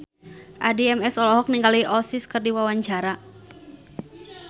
Addie MS olohok ningali Oasis keur diwawancara